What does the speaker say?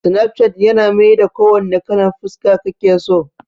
Snapchat yana maida ko wanna kalan fuska kake so